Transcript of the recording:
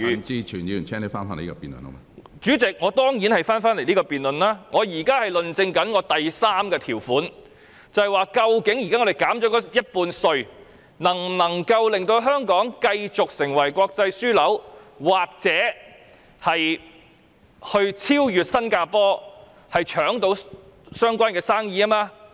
主席，我當然會返回這項辯論，我現在是論證我的第三個論點，即究竟現在稅務寬減 50%， 能否令香港繼續成為國際保險樞紐，或者超越新加坡，爭奪有關的生意。